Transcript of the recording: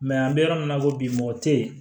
an bɛ yɔrɔ min na i ko bi mɔgɔ tɛ yen